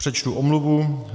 Přečtu omluvu.